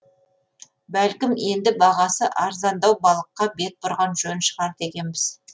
бәлкім енді бағасы арзандау балыққа бет бұрған жөн шығар дегенбіз